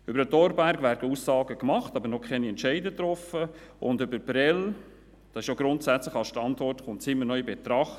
Über Thorberg werden Aussagen gemacht, aber es wurden noch keine Entscheidungen getroffen, und Prêles kommt ja grundsätzlich als Standort immer noch in Betracht.